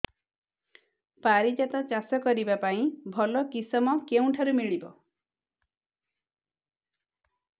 ପାରିଜାତ ଚାଷ କରିବା ପାଇଁ ଭଲ କିଶମ କେଉଁଠାରୁ ମିଳିବ